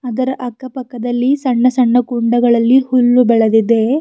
ಅದರ ಅಕ್ಕಪಕ್ಕದಲ್ಲಿ ಸಣ್ಣ ಸಣ್ಣ ಕುಂಡಗಳಲ್ಲಿ ಹುಲ್ಲು ಬೆಳೆದಿದೆ.